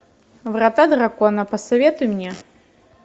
врата дракона посоветуй мне